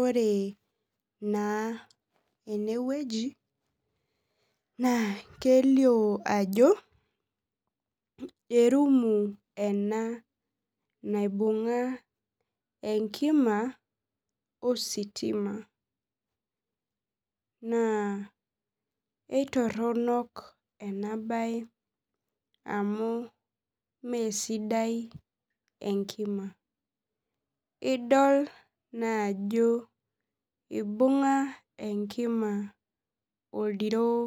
Ore na enewueji na kelio ajo erumu ena naibunga enkima ositima na etironok enabae amu mesidai enkimabidol naa ajo ibunga enkima oldiroo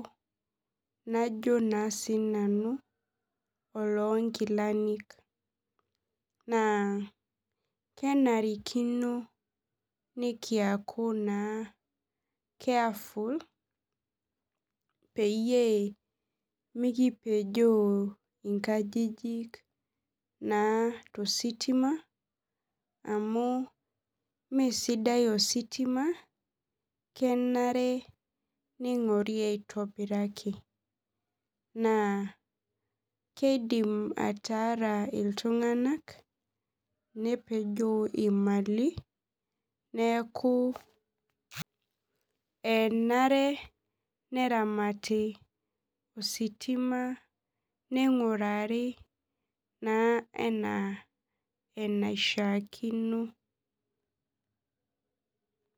najo sinanu oloonkilani na kenarikino nikiaku carefull peyiebmikipejoo nkajijik tositima amu mesidai ositima kenare kingori aitobiraki na kidim ataara ltunganak nepejo imali neaku enare neramati ositima ningurari ana enishaakino.